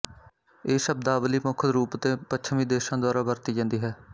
ਇਹ ਸ਼ਬਦਾਵਲੀ ਮੁੱਖ ਰੂਪ ਤੇ ਪੱਛਮੀ ਦੇਸ਼ਾਂ ਦੁਆਰਾ ਵਰਤੀ ਜਾਂਦੀ ਹੈ